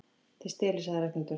Þið stelið sagði Ragnhildur.